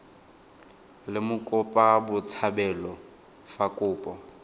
le mokopa botshabelo fa kopo